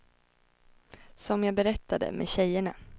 Som jag berättade, med tjejerna.